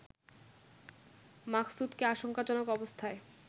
মাকসুদকে আশঙ্কাজনক অবস্থায়